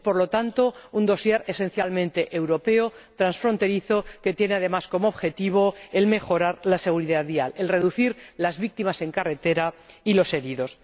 Es, por lo tanto, un dosier esencialmente europeo, transfronterizo, que tiene además como objetivo mejorar la seguridad vial, reducir las víctimas en carretera y los heridos.